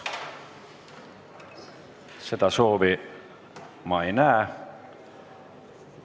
Seda soovi ma ei näe.